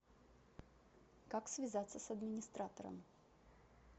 как связаться с администратором